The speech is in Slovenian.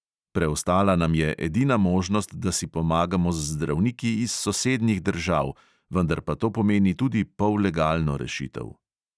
Preostala nam je edina možnost, da si pomagamo z zdravniki iz sosednjih držav, vendar pa to pomeni tudi pollegalno rešitev.